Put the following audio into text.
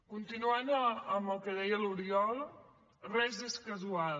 continuant amb el que deia l’oriol res és casual